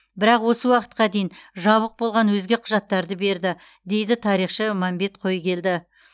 бірақ осы уақытқа дейін жабық болған өзге құжаттарды берді дейді тарихшы мәмбет қойгелді